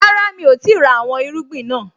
Rárá, mi ò tíì ra àwọn irúgbìn naa